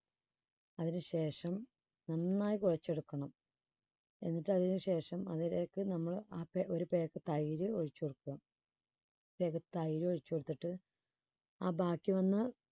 അതിനുശേഷം നന്നായി കുഴച്ചെടുക്കണം. എന്നിട്ട് അതിനുശേഷം അതിലേക്ക് നമ്മള് ആപേ ഒരു pack തൈര് ഒഴിച്ചു കൊടുക്കുക. ഒരു pack തൈര് ഒഴിച്ച് കൊടുത്തിട്ട് ആ ബാക്കി വന്ന